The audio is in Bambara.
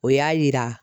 O y'a yira